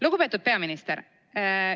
Lugupeetud peaminister!